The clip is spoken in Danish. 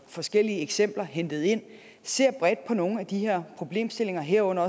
forskellige eksempler hentet ind ser bredt på nogle af de her problemstillinger herunder